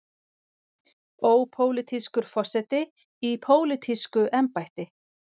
Ópólitískur forseti í pólitísku embætti.